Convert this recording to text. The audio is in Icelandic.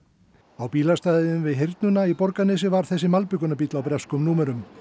á bílastæðinu við í Borgarnesi var þessi malbikunarbíll á breskum númerum